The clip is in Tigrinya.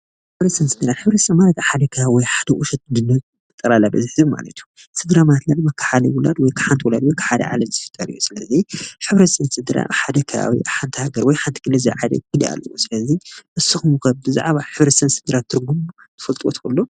ሕብረተሰብ ስድራ፡- ሕብረተሰብ ማለት አብ ሓደ ከባቢ ወይ አብ ሓደ ቁሸት ዝኒሀ ጠቅላላ በዝሒ ህዝቢ ማለት እዩ፡፡ ስድራ ማለት ድማ ካብ ሓደ ወላዲ ወይ ካብ ሓንቲ ወላዲት ፤ ካብ ሓደ ዓሌት ዝፍጠር እዩ፡፡ ስለዚ ሕብረተሰብ ስድራ አብ ሓደ ከባቢ ወይ አብ ሓንቲ ሃገር ዝለዓለ ግድ አለዎ፡፡ ስለዚ ንስኩም ኸ ብዛዕባ ሕብረተሰብ ስድራ ትርጉም ትፈልጥዎ ትክእሉ?